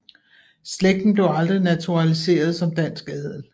Slægten blev aldrig naturaliseret som dansk adel